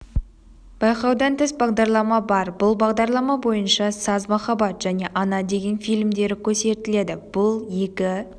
байқаудан тыс бағдарлама бар бұл бағдарлама бойынша саз махаббат және ана деген фильмдері көрсетіледі бұл екі